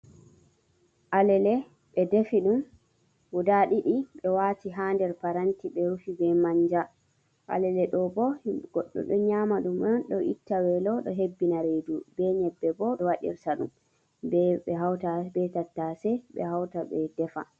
Alele ɓe defi ɗum guda ɗiɗi ɓe wati ha der paranti ɓe rufi be manja alele ɗo bo goddo ɗo nyama ɗum on ɗo itta welo do hebbina reidu ɓe nyebbe bo e waɗirta ɗum ɓe hauta ɓe tattase ɓe hauta be defa.